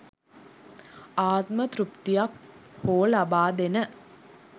ආත්ම තෘප්තියක් හෝ ලබාදෙන